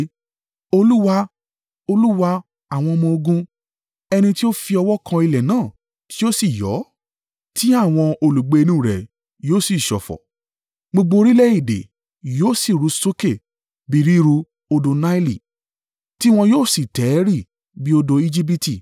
Olúwa, Olúwa àwọn ọmọ-ogun, ẹni ti ó fi ọwọ́ kan ilẹ̀ náà tí ó sì yọ́, tí àwọn olùgbé inú rẹ̀ yóò sì ṣọ̀fọ̀; gbogbo orílẹ̀-èdè yóò si ru sókè bí ríru odò Naili tiwọn yóò sì tẹ̀rì bí odò Ejibiti.